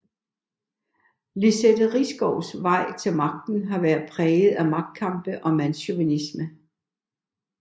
Lizette Risgaards vej til magten har været præget af magtkampe og mandschauvinisme